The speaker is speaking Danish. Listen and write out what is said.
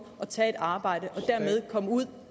at tage et arbejde og dermed komme ud